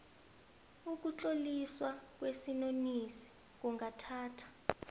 ukutloliswa kwesinonisi kungathatha